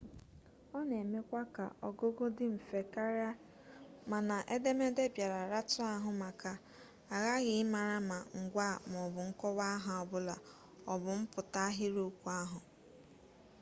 ọ na-emekwa ka ọgụgụ dị mfe karịa mana edemede bịara ratụ ahụ maka aghaghị ịmara ma ngwaa maọbụ nkọwa aha ọbụla ọ bụ mpụta ahịrịokwu ahụ